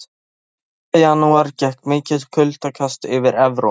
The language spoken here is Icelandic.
Um miðjan janúar gekk mikið kuldakast yfir Evrópu.